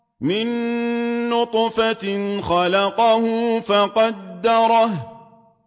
مِن نُّطْفَةٍ خَلَقَهُ فَقَدَّرَهُ